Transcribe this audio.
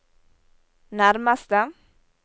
nærmeste